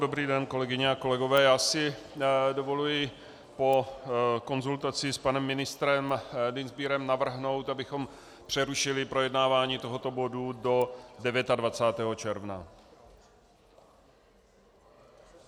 Dobrý den, kolegyně a kolegové, já si dovoluji po konzultaci s panem ministrem Dienstbierem navrhnout, abychom přerušili projednávání tohoto bodu do 29. června.